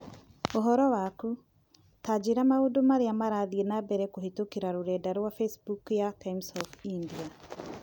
Ũhoro waku, ta njĩĩra maũndũ marĩa marathiĩ na mberekũhītũkīra rũrenda rũa facebook ya Times of India